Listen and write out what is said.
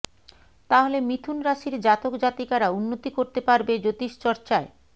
তাহলে মিথুন রাশির জাতক জাতিকারা উন্নতি করতে পারবে জ্যোতিষচর্চায়